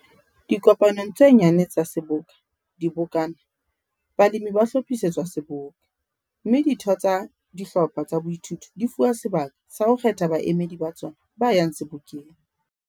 Dikopanong tse nyane tsa seboka, dibokana, balemi ba hlophisetswa Seboka, mme ditho tsa dihlopha tsa boithuto di fuwa sebaka sa ho kgetha baemedi ba tsona ba yang Sebokeng.